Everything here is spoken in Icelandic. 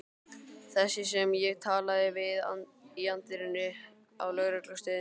Þessi sem ég talaði við í anddyrinu á lögreglustöðinni.